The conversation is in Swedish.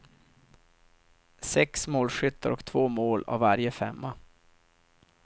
Sex målskyttar och två mål av varje femma.